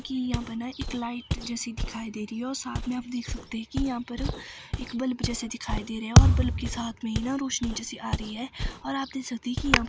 कि यहां पर ना एक लाइट जैसी दिखाई दे रही है और साथ में आप देख सकते हैं कि यहां पर एक बल्ब जैसा दिखाई दे रहा है और बल्ब के साथ में ही ना रोशनी जैसी आ रही है और आप देख सकते हैं कि यहां--